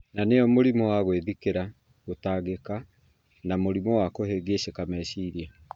na nĩyo mũrimũ wa gwĩthikĩra, gũtangĩka, na mũrimũ wa kũhĩngĩcĩka meciria.